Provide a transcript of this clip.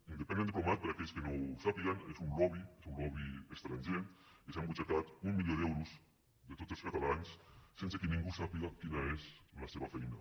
independent diplomat per a aquells que no ho sàpiguen és un lobby és un lobby estranger que s’ha embutxacat un milió d’euros de tots els catalans sense que ningú sàpiga quina és la seva feina